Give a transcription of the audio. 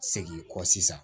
Segin kɔ sisan